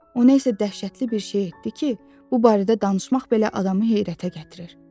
O nəsə dəhşətli bir şey etdi ki, bu barədə danışmaq belə adamı heyrətə gətirir.